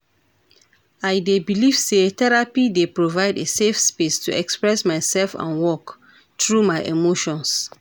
I dey believe say therapy dey provide a safe space to express myself and work through my emotions.